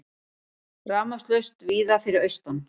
Rafmagnslaust víða fyrir austan